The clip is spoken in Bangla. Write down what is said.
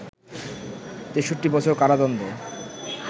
৬৩ বছর কারাদণ্ড